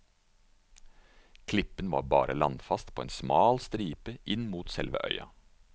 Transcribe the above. Klippen var bare landfast på en smal stripe inn mot selve øya.